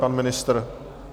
Pan ministr?